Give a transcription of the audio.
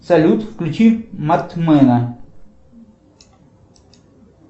салют включи мартмена